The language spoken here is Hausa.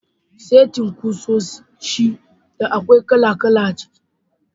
Setin kusoshi da akwai kala-kala a ciki.